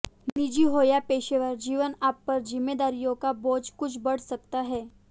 निजी हो या पेशेवर जीवन आप पर जिम्मेदारियों का बोझ कुछ बढ़ सकता है